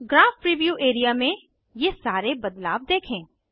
graph preview area में ये सारे बदलाव देखें